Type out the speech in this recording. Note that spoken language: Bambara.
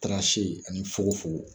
ani fonkofonko